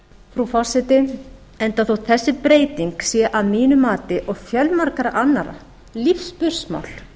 frú forseti enda þótt þessi breyting sé að mínu mati og fjölmargra annarra lífsspursmál